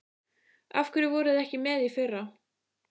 Af hverju voruð þið ekki með í fyrra?